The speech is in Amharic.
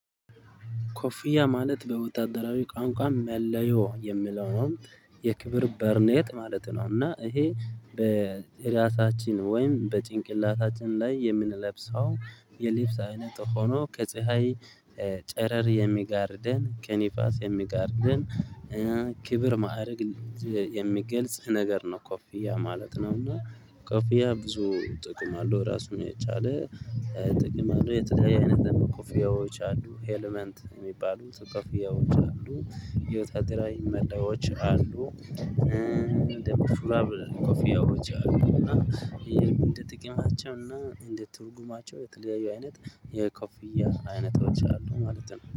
ኮፊያ ማለት በወታደራዊ ቋንቋ መለዮ የሚለው ነው የክብር በርኔጥ ማለት ነው እና ይሄ በአራሳችን ወይም በጭንቅላታችን ላይ የምንለብሰው የልብስ አይነት ሆኖ ከፀሀይ ጨረር የሚጋርደን ከንፋስ የሚጋርደን ክብር ማዕረግ የሚገልጽ ነገር ነው ኮፊያ ማለት ነው እና ኮፊያ ብዙ ጥቅም አለው ራሱን የቻለ ጥቅም አለው የተለያየ አይነት ደግሞ ኮፊያዎች አሉ ኤለመንት የሚባሉ ኮፊያዎች አሉ የወጣት ላይ መላዮች አሉ ደሞ ሹራብ ኮፊያዎች አሉ አና ይሄም አንደ ጥቅማቸው እና እንደ ትርጉማቸው የተለያዩ አይነት የኮፍያ አይነቶች አሉ ማለት ነው።